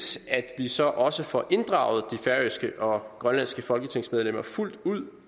at vi så også får inddraget de færøske og grønlandske folketingsmedlemmer fuldt ud